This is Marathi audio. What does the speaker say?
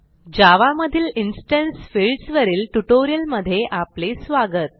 जावा मधील इन्स्टन्स फील्ड्स वरील ट्युटोरियलमधे आपले स्वागत